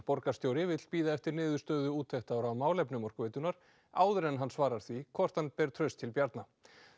borgarstjóri vill bíða eftir niðurstöðu úttektar á málefnum Orkuveitunnar áður en hann svarar því hvort hann beri traust til Bjarna